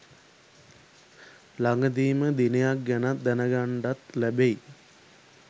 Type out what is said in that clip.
ළඟදීම දිනයක් ගැනත් දැනගන්ඩත් ලැබෙයි.